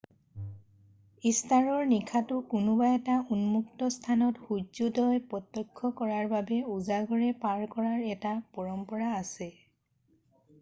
ইষ্টাৰৰ নিশাটো কোনোবা এটা উন্মূক্ত স্থানত সুৰ্যোদয় প্ৰত্যক্ষ কৰাৰ বাবে উজাগৰে পাৰ কৰাৰ এটা পৰম্পৰা আছে